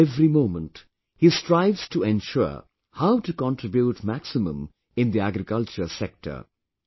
Now every moment, he strives to ensure how to contribute maximum in the agriculture sector